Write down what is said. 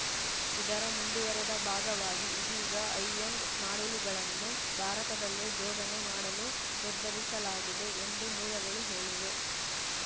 ಇದರ ಮುಂದುವರೆದ ಭಾಗವಾಗಿ ಇದೀಗ ಹೈಎಂಡ್‌ ಮಾಡೆಲ್‌ಗಳನ್ನೂ ಭಾರತದಲ್ಲೇ ಜೋಡಣೆ ಮಾಡಲು ನಿರ್ಧರಿಸಲಾಗಿದೆ ಎಂದು ಮೂಲಗಳು ಹೇಳಿವೆ